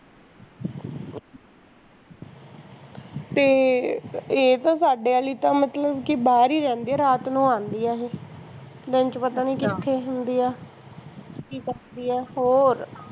ਤੇ ਇਹ ਤਾਂ ਸਾਡੇ ਆਲੀ ਤਾਂ ਮਤਲਬ ਕੀ ਬਾਹਰ ਹੀ ਰਹਿੰਦੀ ਆ ਰਾਤ ਨੂੰ ਆਂਦੀ ਆ ਇਹ ਦਿਨ ਚ ਪਤਾ ਨੀ ਕਿਥੇ ਹੁੰਦੀ ਆ ਕੀ ਕਰਦੀ ਆ ਹੋਰ